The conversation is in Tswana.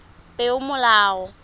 peomolao